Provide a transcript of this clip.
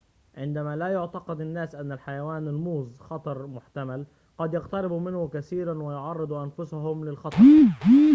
عندما لا يعتقد الناس أن حيوان الموظ خطر محتمل قد يقتربوا منه كثيراً ويعرّضوا أنفسهم للخطر